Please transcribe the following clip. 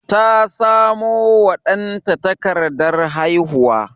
Ta samo wa danta takardar haihuwa.